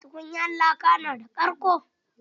Tukunyar laka na da karƙo?